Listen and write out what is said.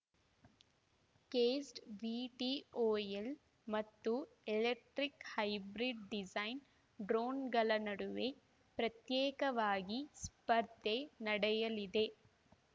ಕ್ಸೆಡ್‌ VTOL ಮತ್ತು electric hybrid design ಡ್ರೋಣ್‌ಗಳ ನಡುವೆ ಪ್ರತ್ಯೇಕವಾಗಿ ಸ್ಪರ್ಧೆ ನಡೆಯಲಿದೆ